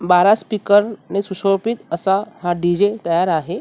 बारा स्पीकरने शिशोबित असा हा डीजे तयार आहे.